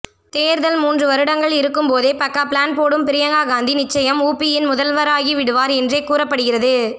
தேர்தல் மூன்று வருடங்கள் இருக்கும்போதே பக்கா பிளான் போடும் பிரியங்கா காந்தி நிச்சயம் உபியின் முதல்வராகிவிடுவார் என்றே கூறப்படுகிறது